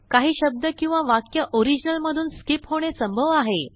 काहीशब्द किंवावाक्य ओरिजिनल मधून स्कीप होणे संभव आहे